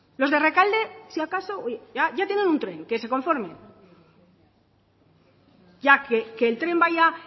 los de rekalde si acaso ya tiene un tren que se conformen que el tren vaya